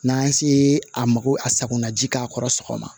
N'an se a ma ko a sakonaji k'a kɔrɔ sɔgɔma